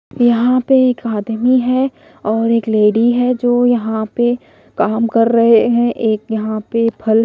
यहां पे एक आदमी है और एक लेडी है जो यहां पे काम कर रहे हैं। एक यहां पे फल--